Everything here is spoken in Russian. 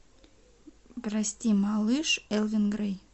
прости малыш элвин грей